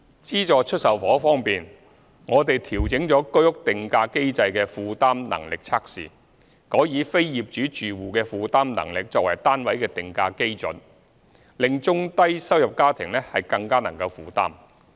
資助出售房屋方面，我們調整了居屋定價機制的負擔能力測試，改以非業主住戶的負擔能力作為單位的定價基礎，令中低收入家庭更能負擔。